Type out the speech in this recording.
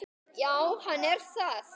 Já, hann er það.